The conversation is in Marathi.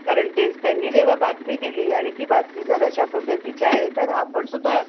कारण तेच त्यांनी जेव्हा बातमी दिली आणि ती बातमी जर अशा पद्धतीची आहे तर आपण सुद्धा